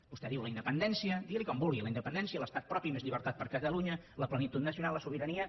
vostè diu la independència digui n’hi com vulgui la independència o l’estat propi més llibertat per a catalunya la plenitud nacional la sobirania